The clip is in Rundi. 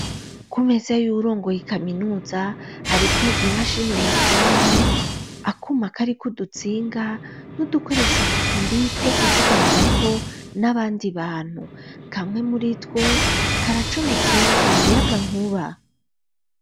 Ku meze yuwurongoye kaminuza hariko imashini nyabwonko akuma kariko udutsinga n'udukoresho tubiri two kuvuganirako n'abandi bantu, kamwe muritwo karacometse mu muyagankuba.